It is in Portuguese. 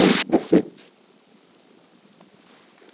Um decente.